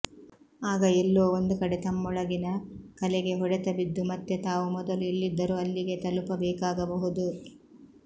ಆಗ ಎಲ್ಲೋ ಒಂದುಕಡೆ ತಮ್ಮೊಳಗಿನ ಕಲೆಗೆ ಹೊಡೆತ ಬಿದ್ದು ಮತ್ತೆ ತಾವು ಮೊದಲು ಎಲ್ಲಿದ್ದರೋ ಅಲ್ಲಿಗೇ ತಲುಪಬೇಕಾಗಬಹುದು